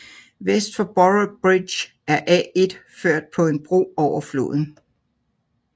Vest for Boroughbridge er A1 ført på en bro over floden